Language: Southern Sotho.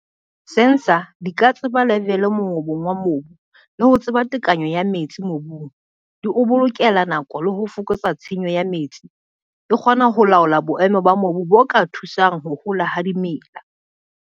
Sensor di ka tseba level mongobong wa mobu le ho tseba tekanyo ya metsi mobung, di o bolokela nako le ho fokotsa tshenyo ya metsi, di kgona ho laola boemo ba mobu bo ka thusang ho hola ha dimela.